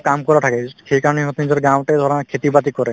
কাম কৰা থাকে সেইকাৰণে সিহঁতে নিজৰ গাঁৱতে ধৰা খেতি--বাতি কৰে